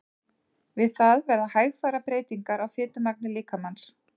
Við það verða hægfara breytingar á fitumagni líkamans.